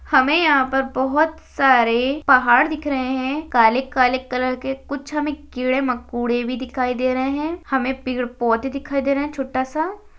हमें यहाँ पर बोहत सारे पहाड़ दिख रहे है काले - काले कलर के कुछ हमें कीड़े मकुड़े भी दिखाई दे रहे है हमे पेड़ - पौधे दिखाई दे रहे है छोटा सा --